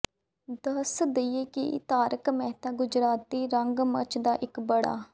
ਦੱਸ ਦੱਈਏ ਕਿ ਤਾਰਕ ਮੇਹਤਾ ਗੁਜਰਾਤੀ ਰੰਗਮੰਚ ਦਾ ਇੱਕ ਬੜਾ